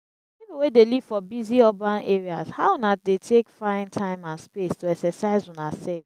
people wey dey live for busy urban areas how una dey take find time and space to exercise una self?